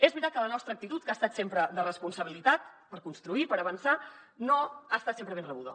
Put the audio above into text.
és veritat que la nostra actitud que ha estat sempre de responsabilitat per construir per avançar no ha estat sempre ben rebuda